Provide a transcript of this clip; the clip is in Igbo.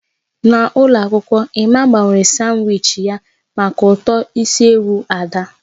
N'ụlọ akwụkwọ, Emma gbanwere sanwichi ya maka uto isi ewu Ada.